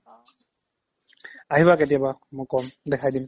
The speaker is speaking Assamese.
আহিবা কেতিয়াবা মই ক'ম দেখাই দিম